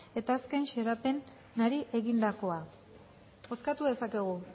eta azken xedapenari egindakoa bozkatu dezakegu